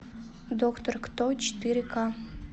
доктор кто четыре ка